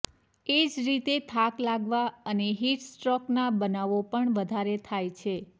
એ જ રીતે થાક લાગવા અને હીટ સ્ટ્રોકના બનાવો પણ વધારે થાય છે